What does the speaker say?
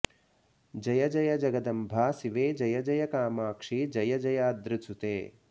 जय जय जगदम्ब शिवे जय जय कामाक्षि जय जयाद्रिसुते